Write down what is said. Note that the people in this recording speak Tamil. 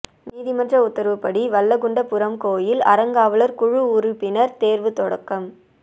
நீதிமன்ற உத்தரவுப்படி வல்லக்குண்டபுரம் கோயில் அறங்காவலா் குழு உறுப்பினா் தோ்வு தொடக்கம்